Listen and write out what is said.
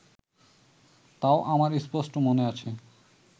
তাও আমার স্পষ্ট মনে আছে